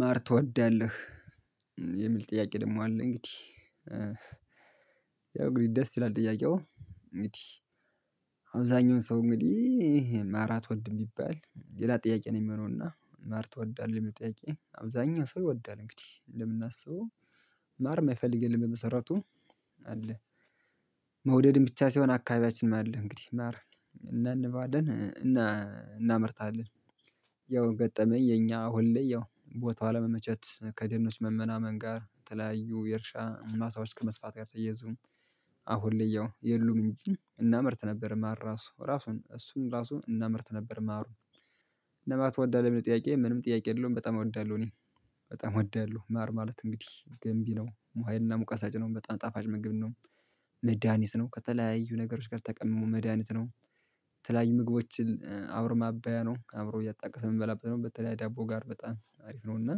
"ማር ትወዳለህ?" የሚል ጥያቄ ደግሞ አለ። እንግዲህ ያው እንግዲህ ደስ ይላል ጥያቄው። እንግዲህ አብዛኛውን ሰው እንግዲህ ማር አትወድም ቢባል ሌላ ጥያቄ ነው የሚሆነው። እና ማር ትወዳለህ? የሚለው ጥያቄ አብዛኛው ሰው ይወዳል እንግዲህ። ለምናስበው ማር የማይፈልግ የለም በመሰረቱ አለ መውደድም ብቻ ሳይሆን አካባቢያችንም አለ። እንግዲህ ማረ እናንባለን እናመርታለን። ያው ገጠመኝ የኛ አሁን ላይ ያው ቦታው አለመመቸት ከደኖች መመናመን ጋር የተለያዩ የእርሻ ማሳዎች ከመስፋት ጋር ተየዙ አሁን ላይ ያው የሉም እንጂ፤ እናመርት ነበር። ማር ራሱ ራሱን እሱን ራሱ እናምርት ነበር ማሩን። እና ማር ትወዳለህ? የሚለው ጥያቄ ምንም ጥያቄ የለውም በጣም እወዳለሁ እኔ። በጣም እወዳለሁ። ማር ማለት እንግዲህ ገንቢ ነው። ሙ ሀይልና ሙቀት ሰጪ ነው። በጣም ጣፋጭ ምግቢ ነው። መድሃኒት ነው። ከተለያዩ ነገሮች ጋር ተቀምሞ መድሃኒት ነው። ተለያዩ ምግቦችን አብሮ ማባያ ነው። አብሮ እያጣቀሰ የምንበላበት ነው። በተለይ ዳቦ ጋር በጣም አሪፍ ነው። እና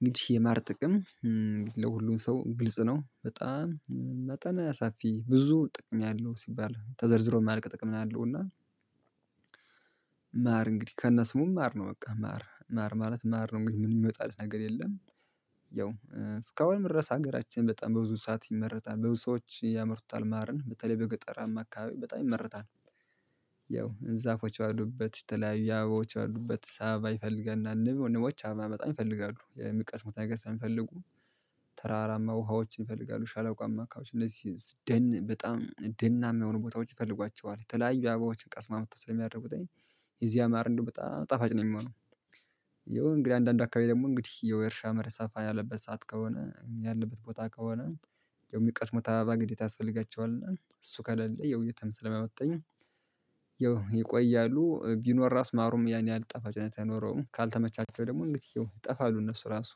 እንግዲህ የማር ጥቅም ለሁሉም ሰው ግልጽ ነው። በጣም መጠነ ሰፊ ብዙ ጥቅም ያለው ሲባል ተዘርዝሮ የማልቅ ጥቅም ነው ያለው። እና እንግዲህ ከነ ስሙም ማር ነው። በቃ ማር ማር ማለት ማር ነው። እንግዲህ ምን የሚወጣለት ነገር የለም። ያው እስካሁንምድረስ ሀገራችን በጣም በብዙ ሰዓት ይመረታል በብዙ ሰዎች ያመርቱታል ማረን። በተለይ በገጠራማ አካባቢ በጣም ይመርታል። ያው ዛፎች ባሉበት፣ የተለያዩ አበባዎች ባሉበት፣ አበባ ይፈልገል እና ንብ ንቦች አበባ በጣም ይፈልጋሉ። የሚቀስሙት ነገር ስለሚፈልጉ። ተራራማ ውሃዎችን ይፈልጋሉ። ሸላቋማ አካባቢ እነዚህ ደን በጣም ደናማ የሆኑ ቦታዎች ይፈልጓቸዋል። የተለያዩ አበባዎችን ቀስመው አምጥተው ስለሚያደርጉትኝ፤ የዚያ ማር እንደውም በጣም ጣፋጭ ነው የሚሆነው። ያው እንግዲህ አንዳንድ አካባቢ ደግሞ እንግዲህ የውይ የእርሻ መሬት ሰፋ ያለበት ሰዓት ከሆነ ያለበት ቦታ ከሆነ የሚቀስሙት አባባ ግዴታ ያስፈልጋቸዋል እና እሱ ከሌለ ያው የትም ስለማመጣኝ ቢኖር ራስ ማሩም ያን ያህል ጣፋጭነት አይኖረውም። ካልተመቻቸው ደግሞ እንግዲህ ያው ይጠፋሉ እነሱ ራሱ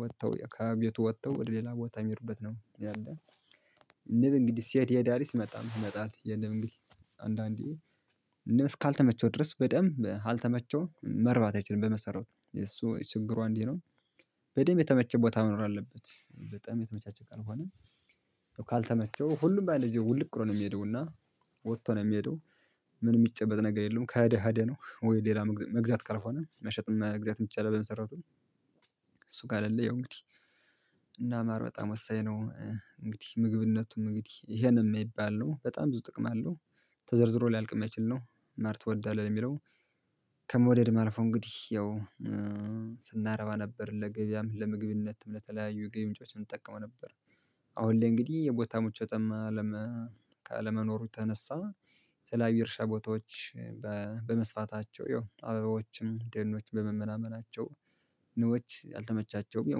ወጥተው ከቤቱ ወጥተው ወደ ሌላ ቦታ የሚሄዱበት ነው ያለው። ንብ እንግዲህ ሲሄድ ይሄዳል ሲመጣም ይመጣል የንብ እንግዲህ አንዳንዴ ንብ እስካልተመቸው ድረስ በደንብ አልተመቸው መርባት አይችልም በመሰራቱ። የሱ ችግሯ አንዲህ ነው። በደንብ የተመቸ ቦታ መኖር አለበት። በጣም የተመቻቸ ካልከሆነ ካልተመቸው ሁሉም በአንድ ጊዜ ውልቅ ብሎ ነው የሚሄደው። እና ወጥቶ ነው የሚሄደው። ምን የሚጨበጥ ነገር የለውም ከሄዳ ሄዳ ነው። ወይ ሌላ መግዛት ካልሆነ መሸጥም መግዛትም ይቻላል በመሰረቱ። እሱ ከሌለ ያው እንግዲህ እና ማር በጣም ወሳኝ ነው። እንግዲህ ምግብነቱም እንግዲህ ይሄነው የማይባል ነው። በጣም ብዙ ጥቅም አለው። ተዘርዝሮ ሊያልቅ የማይችል ነው። ማር ትወዳለህ ለሚለው ከመውደድም አልፎ እንግዲህ ያው ስናረባም ነበር ለገበያም፣ ለምግብነትም፣ ለተለያዩ የገቢ ምንጮች እንጠቀመው ነበር። አሁን ላይ እንግዲህ የቦታ ምቾትም አለመ ካለመኖሩ የተነሳ የተለያዩ የእርሻ ቦታዎች በመስፋታቸው ያው አበባዎችም ደኖች በመመናመናቸው ንቦች አልተመቻቸውም ያው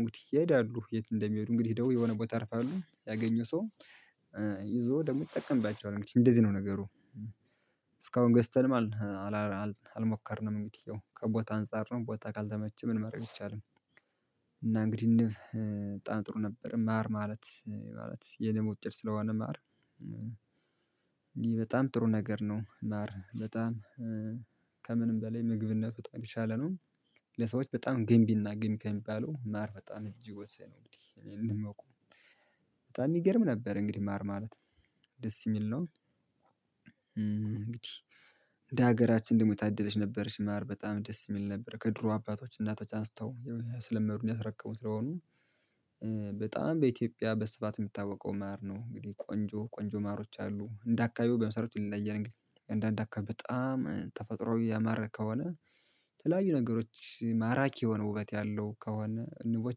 እንግዲህ ይሄዳሉ። የት እንደሚሄዱ እንግዲህ ሄደው የሆነ ቦታ ያርፋሉ ያገኘው ሰው ይዞ ደግሞ ይጠቀምባቸዋል እንግዲህ እንደዚህ ነው ነገሩ። እስካሁን ገዝተንም አል አላ አልሞከርንም እንግዲህ ያው ከቦታ አንፃር ነው ቦታ ካልተመቸ ምንም ማረግ አይቻልም። እና እንግዲህ ንብ በጣም ጥሩ ነበር። ማር ማለት ማለት የንብ ውጤት ስለሆነ ማር ይሄ በጣም ጥሩ ነገር ነው። ማር በጣም ከምንም በላይ ምግብነቱ በጣም የትሻለ ነው። ለሰዎች በጣም ግንቢና ገንቢ ከሚባለው ማር በጣም እጅግ ወሳኝ ነው እንግዲህ እኔ እንደማውቀው። በጣም ይገርም ነበር እንግዲህ ማር ማለት ደስ የሚል ነው። እንግዲህ እንደ ሀገራችን ደግሞ የታደለች ነበርች ማር በጣም ደስ የሚል ነበር። ከድሮ አባቶች እናቶች አንስተው ያስለመዱን ያስረከቡን ስለሆኑ፤ በኢትዮጵያ በስፋት የሚታውቀው ማር ነው እንግዲህ ቆንጆ ቆንጆ ማሮች አሉ። እንደ አካባቢው በመሰረቱ ይለያያል እንግዲህ አንዳንድ አካባቢ በጣም ተፈጥሮ ያማረ ከሆነ፤ የተለያዩ ነገሮች ማራኪ የሆነ ውበት ያለው ከሆነ ንቦች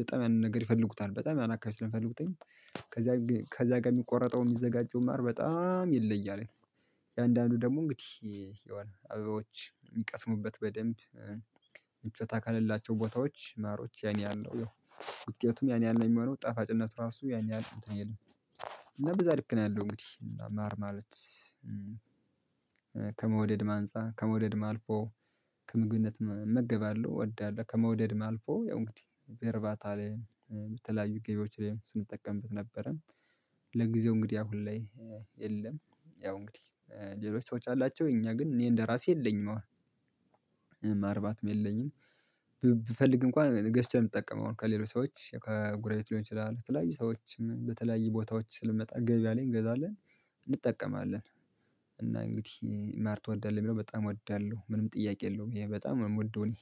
በጣም ያንን ነገር ይፈልጉታል። በጣም ያን አካባቢ ስለሚፈልጉትኝ ከዚያ ከዚያ ጋር የሚቆረጠው የሚዘጋጀው ማር በጣም ይለያል። የአንዳንዱ ደግሞ እንግዲህ የሆነ አበባዎች የሚቀስሙበት በደንብ ምቾት አካል ያላቸው ቦታዎች ማሮች ያኔ ያህል ነው። ያው ውጤቱም ያን ያህል ነው የሚሆነው። ጣፋጭነቱ ራሱ ያን ያህል እንትን አይልም እና በዛ ልክ ነው ያለው እንግዲህ። ማር ማለት ከመውደድም አንጻ ከመውደድም አልፎ ከምግብነትም እመገባለሁ እወዳለሁ ከመውደድም አልፎ ያው እንግዲህ በርባታ ላይ በተለያዩ ገቢዎች ላይም ስንጠቀምበት ነበረ። ለጊዜው እንግዲህ አሁን ላይ የለም ያው እንግዲህ ሌሎች ሰዎች አላቸው። እኛ ግን እኔ እንደራሴ የለኝም አሁን። ማርባትም የለኝም ብፈልግ እንኳን ገዝቼ ነው የምትጠቀመው አሁን ከሌሎች ሰዎች ከጎረቤት ሊሆን ይችላል ተለያዩ ሰዎችም በተለያዩ ቦታዎች ስለሚመጣ ገበያ ላይ እንገዛለን። እንጠቀማለን። እና እንግዲህ "ማር ትወዳለህ?" ለሚለው፣ በጣም እወዳለሁ። ምንም ጥያቄ የለውም ይሄ በጣም የምወደው እኔ።